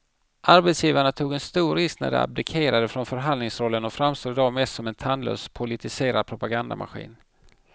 Arbetsgivarna tog en stor risk när de abdikerade från förhandlingsrollen och framstår i dag mest som en tandlös politiserad propagandamaskin.